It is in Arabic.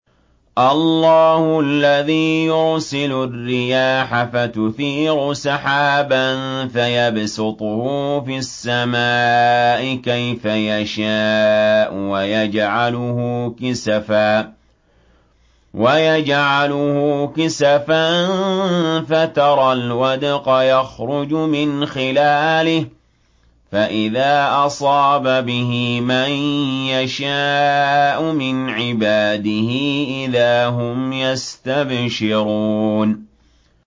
اللَّهُ الَّذِي يُرْسِلُ الرِّيَاحَ فَتُثِيرُ سَحَابًا فَيَبْسُطُهُ فِي السَّمَاءِ كَيْفَ يَشَاءُ وَيَجْعَلُهُ كِسَفًا فَتَرَى الْوَدْقَ يَخْرُجُ مِنْ خِلَالِهِ ۖ فَإِذَا أَصَابَ بِهِ مَن يَشَاءُ مِنْ عِبَادِهِ إِذَا هُمْ يَسْتَبْشِرُونَ